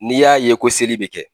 N'i y'a ye ko seli bɛ kɛ